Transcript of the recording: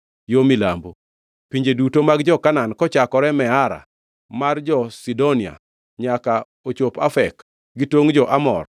yo milambo; pinje duto mag jo-Kanaan, kochakore Meara mar jo-Sidonia nyaka ochopo Afek, gi tongʼ mar jo-Amor;